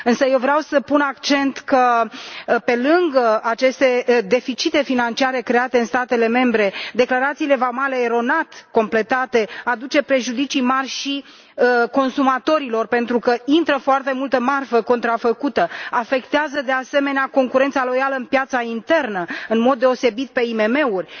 Însă vreau să pun accent pe faptul că, pe lângă aceste deficite financiare create în statele membre, declarațiile vamale completate eronat aduc prejudicii mari și consumatorilor, pentru că intră foarte multă marfă contrafăcută și afectează, de asemenea, concurența loială în piața internă în mod deosebit în cazul IMM urilor.